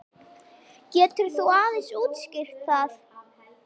Getur þú aðeins útskýrt það?